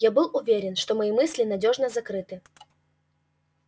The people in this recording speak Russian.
я был уверен что мои мысли надёжно закрыты